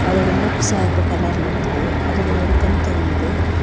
அதோட மூக்கு செவப்பு கலர்ல இருக்குது அதோட ஒரு கண் தெரியுது.